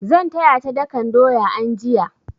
Zan taya ta dakan doya anjiya.